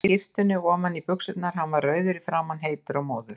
Hann stakk skyrtunni ofan í buxurnar, hann var rauður í framan, heitur og móður.